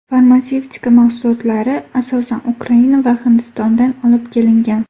Farmatsevtika mahsulotlari asosan Ukraina va Hindistondan olib kelingan.